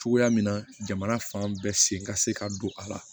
Cogoya min na jamana fan bɛɛ sen ka se ka don a la